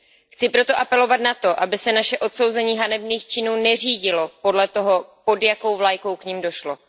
Chci proto apelovat na to, aby se naše odsouzení hanebných činů neřídilo podle toho, pod jakou vlajkou k nim došlo.